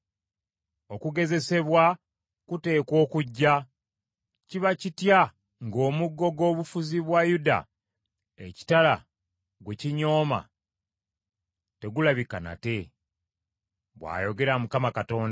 “ ‘Okugezesebwa kuteekwa okujja. Kiba kitya ng’omuggo gw’obufuzi bwa Yuda ekitala gwe kinyooma, tegulabika nate? bw’ayogera Mukama Katonda.’